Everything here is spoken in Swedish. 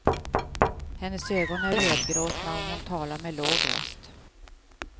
Hennes ögon är rödgråtna och hon talar med låg röst.